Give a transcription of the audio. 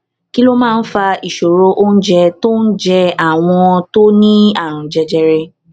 kí ló máa ń fa ìṣòro oúnjẹ tó ń jẹ àwọn tó ní àrùn jẹjẹrẹ